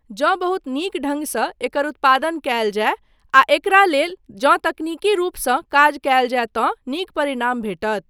जँ बहुत नीक ढ़ङ्गसँ एकर उत्पादन कयल जाय आ एकरा लेल जँ तकनीकी रूपसँ काज कयल जाय तँ नीक परिणाम भेटत।